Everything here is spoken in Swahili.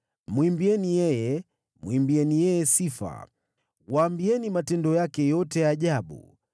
Mwimbieni yeye, mwimbieni yeye sifa; waambieni matendo yake yote ya ajabu.